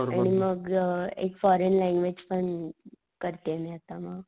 आणि मग एक फॉरेन लँगवेज पण अ करतीये मी आता म.